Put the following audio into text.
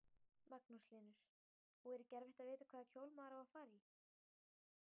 Magnús Hlynur: Og er ekki erfitt að vita hvaða kjól maður á að fara í?